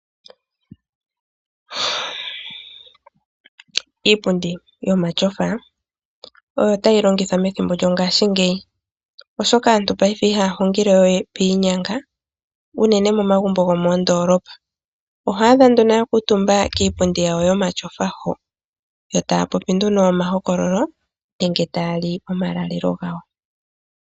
Iipundi yomatyofa oyo tayi longithwa methimbo lyongashingeyi, oshoka aantu aife ihaya hungile we piinyanga unene momagumbo gomoondoolopa. Oho adha nduno ya kuutumba kiipundi yawo yomatyofa ho. Yo taya popi nduno omahokololo nenge taya li omalalelo gawo.